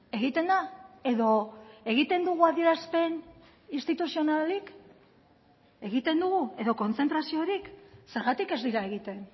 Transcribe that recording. egiten da edo egiten dugu adierazpen instituzionalik egiten dugu edo kontzentraziorik zergatik ez dira egiten